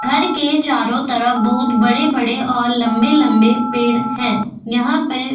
घर के चारों तरफ बहुत बड़े-बड़े और लंबे-लंबे पेड़ हैं यहां पर --